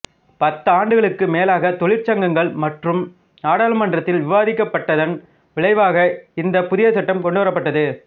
பத்தாண்டுகளுக்கு மேலாக தொழிற்சங்கங்கள் மற்றும் நாடாளுமன்றத்தில் விவாதிக்கப்பட்டதன் விளைவாக இந்த புதிய சட்டம் கொண்டு வரப்பட்டது